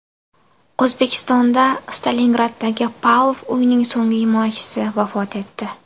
O‘zbekistonda Stalingraddagi Pavlov uyining so‘nggi himoyachisi vafot etdi.